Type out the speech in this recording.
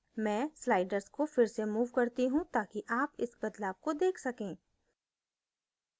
मैं sliders को फिर से move करती हूँ ताकि आप इस बदवाल को let सकें